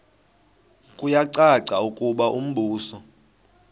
kuyacaca ukuba umbuso